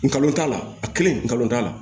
Ngalon t'a la a kelen nkalon t'a la